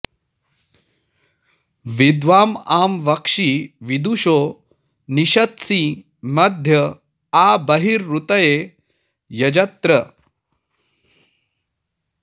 विद्वाँ आ वक्षि विदुषो नि षत्सि मध्य आ बर्हिरूतये यजत्र